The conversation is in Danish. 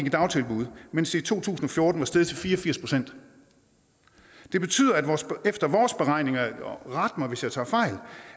i dagtilbud mens det i to tusind og fjorten var steget til fire og firs procent det betyder efter vores beregninger ret mig hvis jeg tager fejl